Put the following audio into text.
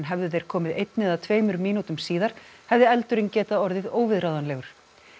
hefðu þeir komið einni eða tveimur mínútur síðar hefði eldurinn getað orðið óviðráðanlegur